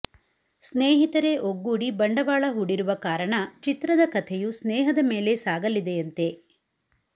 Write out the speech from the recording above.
ಸ್ನೇಹಿತರೇ ಒಗ್ಗೂಡಿ ಬಂಡವಾಳ ಹೂಡಿರುವ ಕಾರಣ ಚಿತ್ರದ ಕಥೆಯೂ ಸ್ನೇಹದ ಮೇಲೆ ಸಾಗಲಿದೆಯಂತೆ